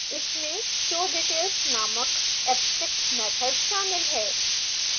इसमें showdetails नामक abstract method शामिल है